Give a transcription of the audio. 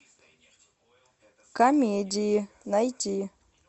комедии найти